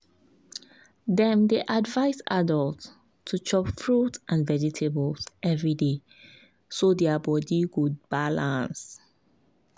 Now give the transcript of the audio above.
dem dey advise adults to dey chop fruit and vegetables every day so their body go balance.